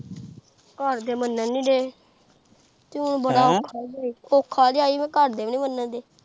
ਘਰ ਦੇ ਮੰਨਣ ਨੀ ਦੇ, ਹੁਣ ਬੜਾ ਔਖਾ ਈ ਏ, ਔਖਾ ਜਿਹਾ ਹੀ ਹੈ ਘਰਦੇ ਨੀ ਮੰਨਣ ਦੇ।